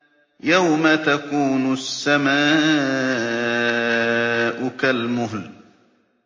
يَوْمَ تَكُونُ السَّمَاءُ كَالْمُهْلِ